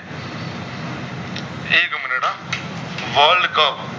worldcup